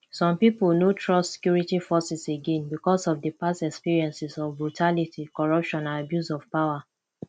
some people no trust security forces again because of di past experiences of brutality corruption and abuse of power